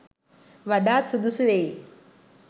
වඩාත් සුදුසු වෙයි.